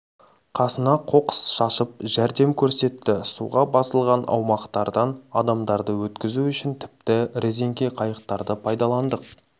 қасына қоқыс шашып жәрдем көрсетті суға басылған аумақтардан адамдарды өткізу үшін тіпті резеңке қайықтарды пайдаландық